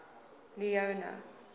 leone